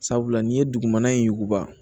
Sabula n'i ye dugumana in yuguba